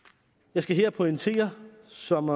jeg skal her pointere som